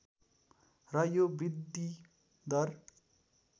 र यो वृद्धिदर